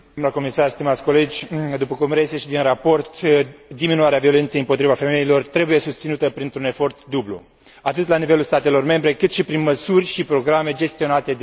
După cum reiese și din raport, diminuarea violenței împotriva femeilor trebuie susținută printr un efort dublu, atât la nivelul statelor membre, cât și prin măsuri și programe gestionate direct de către Comisia Europeană.